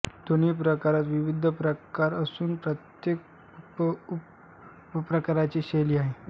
दोन्ही प्रकारात विविध उपप्रकार असून प्रत्येक उपप्रकाराची शैली आहे